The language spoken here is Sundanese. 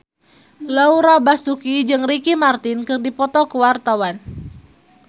Laura Basuki jeung Ricky Martin keur dipoto ku wartawan